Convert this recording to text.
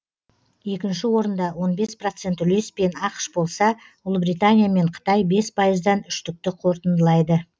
екінші орында он бес процент үлеспен ақш болса ұлибритания мен қытай бес пайыздан үштікті қортындылайды